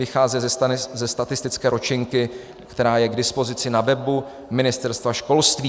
Vycházím ze statistické ročenky, která je k dispozici na webu Ministerstva školství.